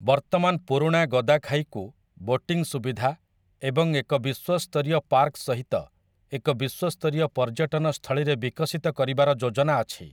ବର୍ତ୍ତମାନ ପୁରୁଣା ଗଦାଖାଇକୁ ବୋଟିଂ ସୁବିଧା ଏବଂ ଏକ ବିଶ୍ୱ ସ୍ତରୀୟ ପାର୍କ ସହିତ ଏକ ବିଶ୍ୱ ସ୍ତରୀୟ ପର୍ଯ୍ୟଟନ ସ୍ଥଳୀରେ ବିକଶିତ କରିବାର ଯୋଜନା ଅଛି ।